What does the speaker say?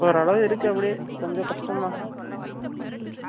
ஒரளவு இருக்கு அப்படியே கொஞ்சம் கஷ்டம் தான்.